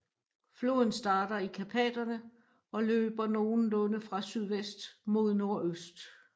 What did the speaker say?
Floden starter i Karpaterne og løber nogenlunde fra sydvest mod nordøst